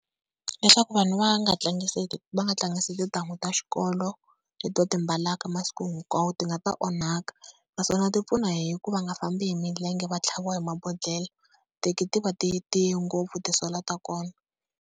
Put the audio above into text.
Leswaku vanhu va nga tlangisi va nga tlangisi tintangu ta xikolo leti va ti mbalaka masiku hinkwawo, ti nga ta onhaka. Naswona ti pfuna hi ku va nga fambi hi milenge va tlhaviwa hi mabodhlela titeki ti va ti tiyi ngopfu ti-sola ta kona.